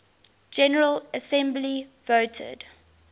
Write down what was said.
general assembly voted